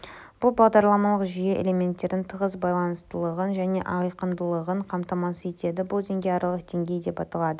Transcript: бұл бағдарламалық жүйе элементтердің тығыз байланыстылығын және айқындылығын қамтамасыз етеді бұл деңгей аралық деңгей деп аталады